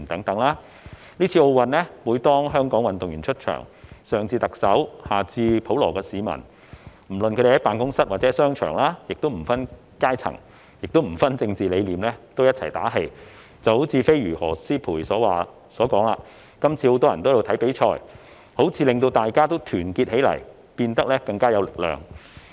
在今次奧運會，每當香港運動員出場，上至特首下至普羅市民，不論是在辦公室或商場，均不分階層和政治理念齊心打氣，正如"飛魚"何詩蓓所說："今次很多人都在看比賽，彷彿令大家團結起來，變得更有力量"。